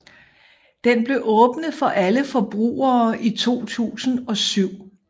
Den blev åbnet for alle forbrugere i 2007